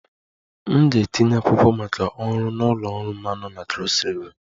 M ga-etinye akwụkwọ maka ọrụ na ụlọ ọrụ mmanụ na Cross river